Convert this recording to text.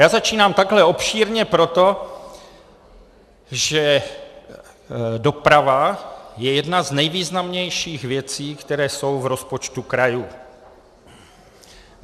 Já začínám takhle obšírně proto, že doprava je jedna z nejvýznamnějších věcí, které jsou v rozpočtu krajů.